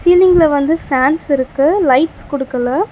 சீலிங்ல வந்து ஃபேன்ஸ் இருக்கு லைட்ஸ் குடுக்கல.